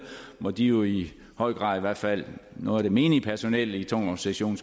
hvor de jo i høj grad i hvert fald noget af det menige personel i tungvognssektionerne